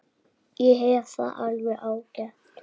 Mig vantar hníf.